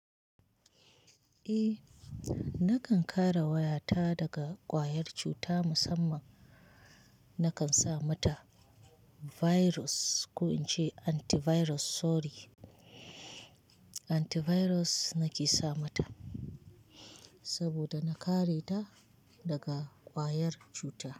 Eh, nakan kare wayata daga ƙwayar cuta musamman nakan sa mata virus ko in ce antivirus sorry. Antivirus nake sa mata saboda na kare ta daga ƙwayar cuta.